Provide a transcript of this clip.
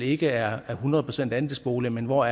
ikke er hundrede procent andelsboliger men hvor